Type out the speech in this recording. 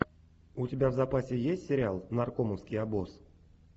у тебя в запасе есть сериал наркомовский обоз